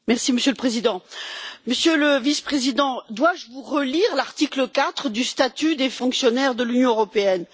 Monsieur le Président, Monsieur le Vice Président, dois je vous relire l'article 4 du statut des fonctionnaires de l'Union européenne?